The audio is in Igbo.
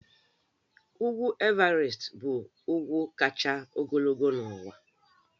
Ugwu Everest bụ ugwu kacha ogologo n'ụwa